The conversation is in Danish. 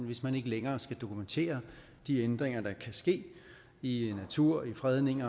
hvis man ikke længere skal dokumentere de ændringer der kan ske i natur i fredning